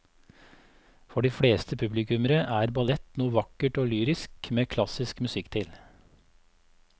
For de fleste publikummere er ballett noe vakkert og lyrisk med klassisk musikk til.